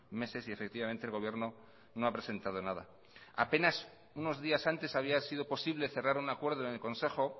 meses y efectivamente el gobierno no ha presentado nada apenas unos días antes había sido posible cerrar un acuerdo en el consejo